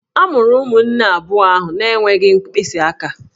A mụrụ ụmụnne abụọ ahụ na-enweghị mkpịsị aka